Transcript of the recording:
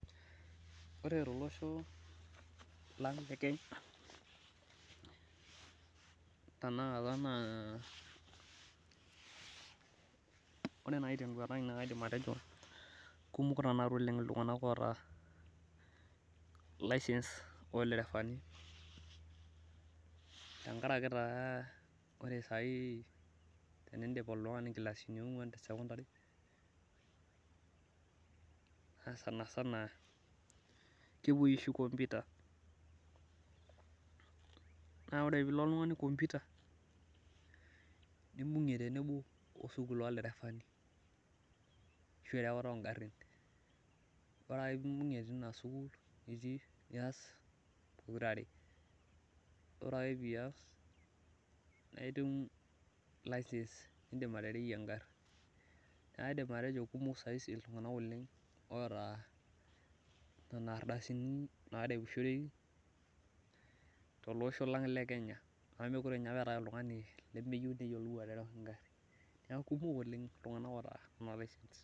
Ore tolosho lang te Kenya, tenakata naa ore naaji teduata ai kaidim atejo, oota licence olderafani. tenkataki taa ore sai, tenidip oltungani nkilasini onguan te sekondari, sanasana. kepuoi oshi computer ,naa ore pee ilo oltungani computer nibungie tenebo sukuul olderefani. ashu erewata oo garin. ore ake pee imbugie teina sukuul nitii nias pokira are ore ake pias, naitum licence nidim atereyie egari. naa kaidim atejo kumok saisi iltunganak oleng oota, nena ardasini naareushoreki, tolosho lang le kenya amu meekure apa eetae oltungani lemeyieu neyiolou, aterewa egari. neeku kumok oleng iltunganak oota licence